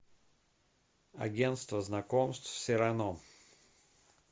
агенство знакомств сирано